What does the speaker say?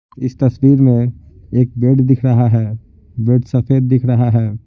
इस तस्वीर में एक बेड दिख रहा है बेड सफेद दिख रहा है।